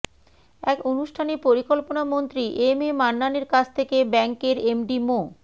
এক অনুষ্ঠানে পরিকল্পনামন্ত্রী এম এ মান্নানের কাছ থেকে ব্যাংকের এমডি মো